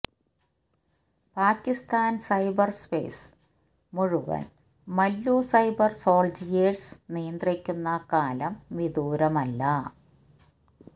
Pakistan cyberspace മുഴുവൻ Mallu cyber soldiers നിയന്ത്രിക്കുന്ന കാലം വിദൂരമല്ല